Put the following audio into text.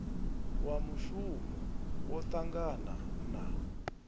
wa mushumi wo ṱangana na